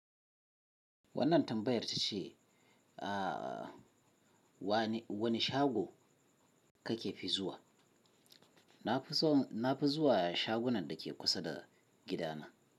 Wannan tambayar ta ce, ah wane wani shago kake fi zuwa? Na fi son, na fi zuwa shagunan da ke kusa da gidana.